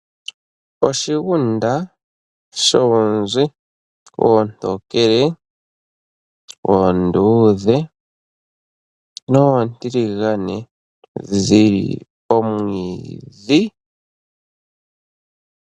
Oshigunda shoonzi oontokele, oonduudhe, noontiligane tadhi li omwiidhi.